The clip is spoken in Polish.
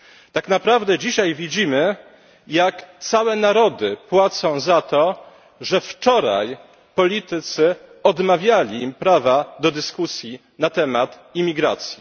Tak naprawdę dzisiaj widzimy, jak całe narody płacą za to, że wczoraj politycy odmawiali im prawa do dyskusji na temat imigracji.